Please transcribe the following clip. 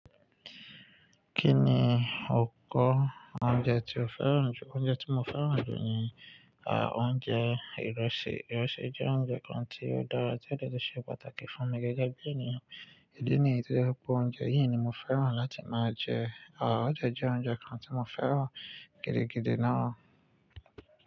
Kí ni o kọ oúnjẹ tí o fẹ́ràn jù? Oúnjẹ tí mo fẹ́ràn jù ni, ah, oúnjẹ ìrẹsì. Ìrẹsì jẹ́ oúnjẹ kan tí ó dára, tí ó le ṣe pàtàkì fún ọmọ gẹ́gẹ́ bí ènìyàn. Ìdí nìyìí tí ó jẹ́ pé oúnjẹ yìí ni mo fẹ́ràn láti máa jẹ. Ó dẹ̀ jẹ́ oúnjẹ kan tí mo fẹ́ràn gidi gidi náà.